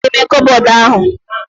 Ọchịchịa adị n'ime koobodu ahu?